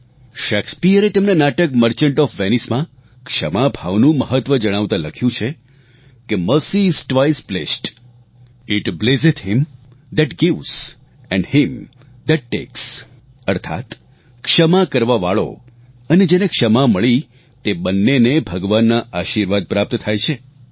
શેક્સપિયરે તેમના નાટક the merchant of Venice માં ક્ષમા ભાવનું મહત્વ જણાવતા લખ્યું છે કે mercy is twice blest it blesseth him that gives and him that takes અર્થાત ક્ષમા કરવાવાળો અને જેને ક્ષમા મળી તે બંન્નેને ભગવાનના આશીર્વાદ પ્રાપ્ત થાય છે